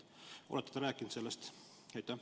Olete te rääkinud sellest?